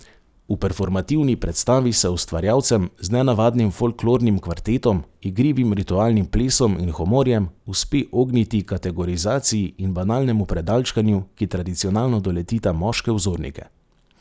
V performativni predstavi se ustvarjalcem, z nenavadnim folklornim kvartetom, igrivim ritualnim plesom in humorjem, uspe ogniti kategorizaciji in banalnemu predalčkanju, ki tradicionalno doletita moške vzornike.